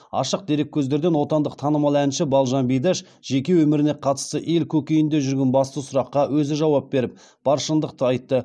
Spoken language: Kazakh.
ашық дереккөздерден отандық танымал әнші балжан бидаш жеке өміріне қатысты ел көкейінде жүрген басты сұраққа өзі жауап беріп бар шындықты айтты